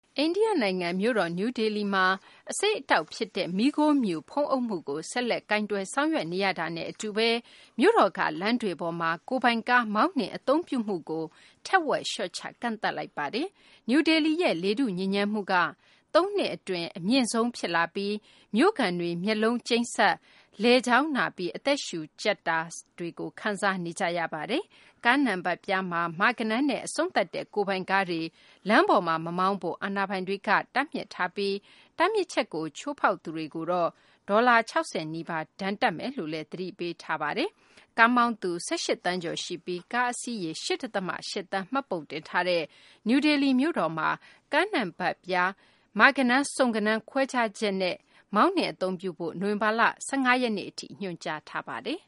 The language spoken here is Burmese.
အိန္ဒိယ နိုင်ငံ မြို့တော် နယူးဒေလီမှာ အဆိပ်အတောက်ဖြစ်တဲ့ မီးခိုးမြူ ဖုံးအုပ်မှုကို ဆက်လက် ကိုင်တွယ် ဆောင်ရွက် နေရတာနဲ့ အတူဘဲ မြို့တော်က လမ်းတွေပေါ်မှာ ကိုယ်ပိုင်ကား မောင်းနှင် အသုံးပြုမှုကို ထက်ဝက် လျှော့ချ ကန့်သတ်လိုက်ပါတယ်။ နယူးဒေလီရဲ့ လေထုညစ်ညမ်းမှုက သုံးနှစ်အတွင်း အမြင့်ဆုံး ဖြစ်လာပြီး မြို့ခံတွေ မျက်လုံးကျိန်းစပ်၊ လည်ချောင်းနာပြီး အသက်ရှုကြပ် စတာတွေ ခံစားနေကြရပါတယ်။ ကားနံပတ်ပြားမှာ မ ဂဏန်းနဲ့ အဆုံးသတ်တဲ့ ကိုယ်ပိုင်ကားတွေ လမ်းတွေပေါ်မှာ မမောင်းကြဖို့ အာဏာပိုင်တွေက တားမြစ်ထားပြီး တားမြစ်ချက်ကို ချိုးဖောက်သူတွေကို ဒေါ်လာ ၆၀ နီးပါး ဒဏ်ငွေတပ်မယ်လို့ သတိပေးထားပါတယ်။ ကားမောင်းသူ ၁၈ သန်းကျော်ရှိပြီး ကားအစီးရေ ၈ ဒသမ ၈ သန်း မှတ်ပုံတင်ထားတဲ့ နယူးဒေလီ မြို့တော်မှာ ကားနံပတ်ပြားတွေမှာ မ ဂဏန်း၊ စုံ ဂဏန်း ခွဲခြားချက်နဲ့ နိုဝင်ဘာလ ၁၅ ရက်နေ့ထိ အလှည့်ကျ မောင်းနှင်ဖို့ ညွှန်ကြားထားပါတယ်